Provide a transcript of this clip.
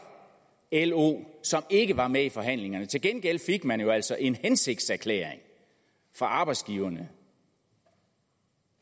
lo som ikke var med i forhandlingerne til gengæld fik man jo altså en hensigtserklæring fra arbejdsgiverne